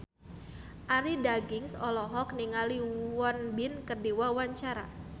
Arie Daginks olohok ningali Won Bin keur diwawancara